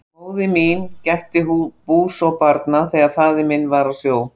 Móðir mín gætti bús og barna þegar faðir minn var á sjó.